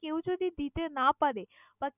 কেউ যদি দিতে না পারে বা